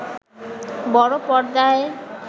বড় পর্দায়